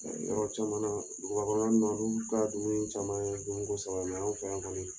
yɔrɔ caman dugubakɔnɔn na olu ta dumuni caman ye domiko saba ye an fɛ yan kɔni